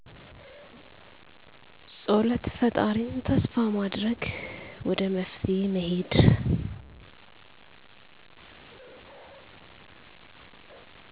ፀሎት ፈጣሪን ተስፋ ማድረግ ወደ መፍትሔ መሄድ